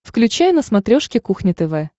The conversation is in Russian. включай на смотрешке кухня тв